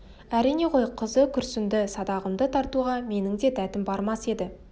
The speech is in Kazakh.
әрине ғой қызы күрсінді садағымды тартуға менің де дәтім бармас еді